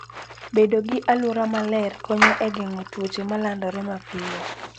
Bedo gi alwora maler konyo e geng'o tuoche ma landore mapiyo.